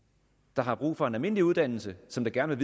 der har brug for en almindelig uddannelse som gerne